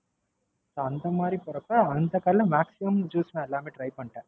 அந்த மாதிரி போறப்ப அந்த கடைல Maxmum juice எல்லாமே நான் Try பண்ணிட்டேன்.